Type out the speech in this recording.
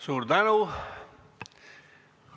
Suur tänu!